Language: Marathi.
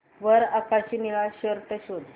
वर आकाशी निळा शर्ट शोध